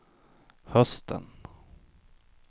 hösten